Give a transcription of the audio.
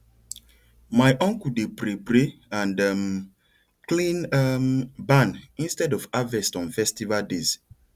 my uncle dey pray pray and um clean um barn instead of harvest on festival days